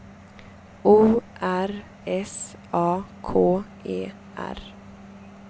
O R S A K E R